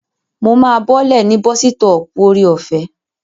Mo máa bọ́lẹ̀ ní bọ́sítọ̀ọ̀pù Ore-ọ̀fẹ́